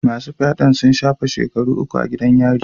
Masu fyaden sun shafe shekaru uku a gidan yari.